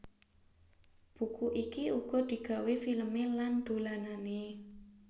Buku iki uga digawé filmé lan dolanané